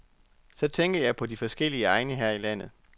Så tænker jeg på de forskellige egne her i landet.